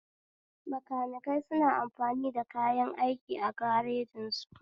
Bakanikai suna amfani da kayan aiki a garejin su